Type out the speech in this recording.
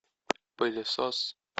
пылесос